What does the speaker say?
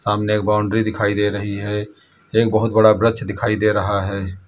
सामने एक बाउंड्री दिखाई दे रही है एक बहुत बड़ा वृक्ष दिखाई दे रहा है।